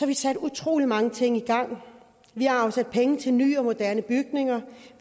vi sat utrolig mange ting i gang vi har afsat penge til nye og moderne bygninger